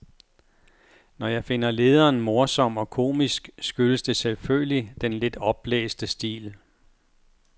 Når jeg finder lederen morsom og komisk skyldes det selvfølgelig den lidt opblæste stil.